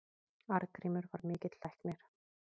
Arngrímur var mikill læknir.